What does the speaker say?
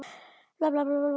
sagði Sveinn.